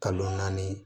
Kalo naani